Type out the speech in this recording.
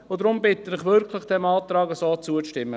Deshalb bitte ich Sie wirklich, diesem Antrag zuzustimmen.